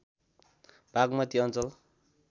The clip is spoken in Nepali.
बाग्मती अञ्चल